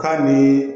K'a ni